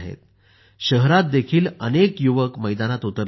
शहरात देखील अनेक युवक मैदानात उतरले आहेत